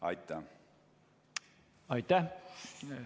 Aitäh!